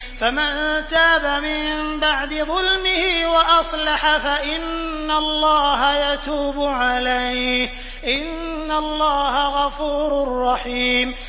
فَمَن تَابَ مِن بَعْدِ ظُلْمِهِ وَأَصْلَحَ فَإِنَّ اللَّهَ يَتُوبُ عَلَيْهِ ۗ إِنَّ اللَّهَ غَفُورٌ رَّحِيمٌ